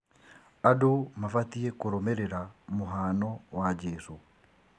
Andũ mabatiĩ kũrũmĩrĩra mũhano wa Jesũ